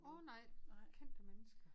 Åh nej kendte mennesker